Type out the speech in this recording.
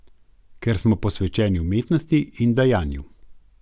Ker smo posvečeni umetnosti in dajanju.